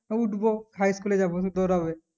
উঠবো High school এ যাবো